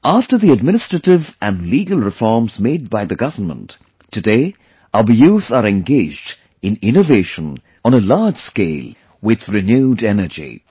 After the administrative and legal reforms made by the government, today our youth are engaged in innovation on a large scale with renewed energy